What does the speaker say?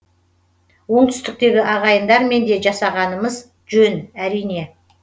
оңтүстіктегі ағайындармен де жасағанымыз жөн әрине